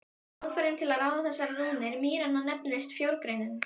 Aðferðin til að ráða þessar rúnir mýranna nefnist frjógreining.